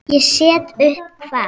Ég set upp hvað?